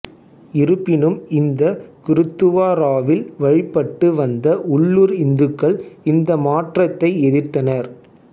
இருப்பினும் இந்த குருத்துவாராவில் வழிபட்டு வந்த உள்ளூர் இந்துக்கள் இந்த மாற்றத்தை எதிர்த்தனர்